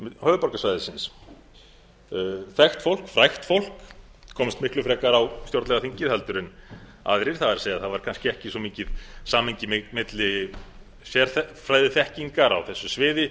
höfuðborgarsvæðisins þekkt fólk frægt fólk komst miklu frekar á stjórnlagaþingið en aðrir það er það var kannski ekki svo mikið samhengi milli sérfræðiþekkingar á þessu sviði